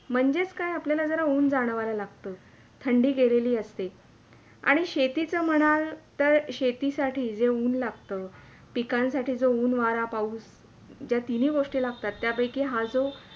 म्हणजेच काय आपल्याला जरा ऊंन जाणवायला लागतं. थंडी गेलेली असते आणि शेतीच म्हणाल तर, शेती साठी जे ऊंन लागतं. पिकांसाठी जो ऊंन, वारा, पाऊस ज्या तिनी गोष्टी लागतात त्या पेकी हा जो